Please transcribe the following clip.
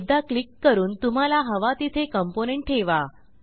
एकदा क्लिक करून तुम्हाला हवा तिथे कॉम्पोनेंट ठेवा